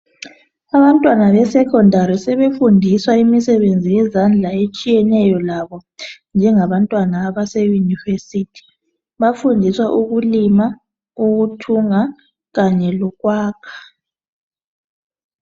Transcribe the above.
Abantwana besecondary sebefundiswa imisebenzi yezandla etshiyeney labo njenga baseuniversity bafundiswa ukulima, ukuthunga kanye lokwakha.